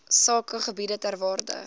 sakegebiede ter waarde